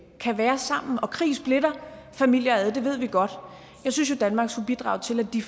kan være sammen og krig splitter familier ad det ved vi godt jeg synes jo danmark skulle bidrage til at de